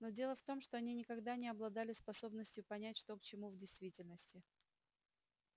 но дело в том что они никогда не обладали способностью понять что к чему в действительности